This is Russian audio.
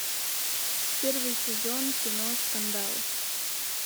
первый сезон кино скандал